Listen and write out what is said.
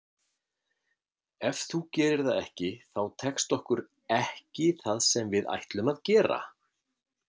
Ef þú gerir það ekki þá tekst okkur ekki það sem við ætlum að gera.